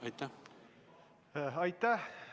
Aitäh!